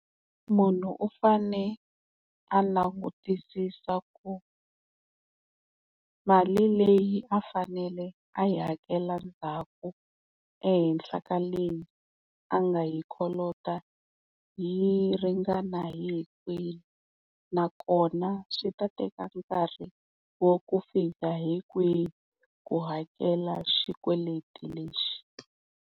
Munhu u fane a langutisisa ku mali leyi a fanele a yi hakela ndzhaku ehenhla ka leyi a nga yi kolota yi ringana hi hikwihi nakona swi ta teka nkarhi wa ku fika hi kwihi ku hakela xikweleti lexi.